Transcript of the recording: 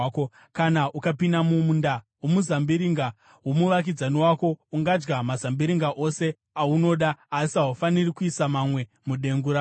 Kana ukapinda mumunda womuzambiringa womuvakidzani wako, ungadya mazambiringa ose aunoda asi haufaniri kuisa mamwe mudengu rako.